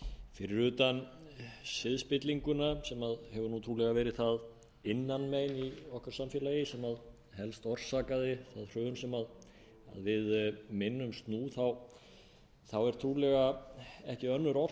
fyrir utan siðspillinguna sem hefur trúlega verið það innanmein í okkar samfélagi sem helst orsakaði það hrun sem við minnumst nú þá er trúlega ekki önnur